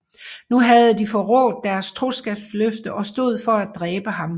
Nu havde de forrådt deres troskabsløfte og stod for at dræbe ham